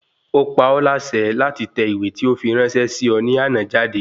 Ó pa ọ́ láṣẹ láti tẹ ìwé tí ó fi ráńṣẹ́ sí ọ ní àná jáde